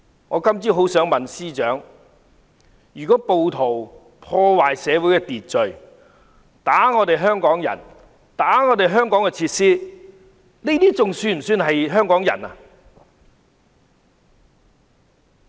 我今天早上很想問司長，如果暴徒破壞社會秩序、打香港人、打爛香港設施，這還算是香港人嗎？